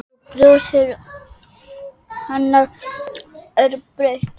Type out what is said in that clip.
Og brosið hennar er breitt.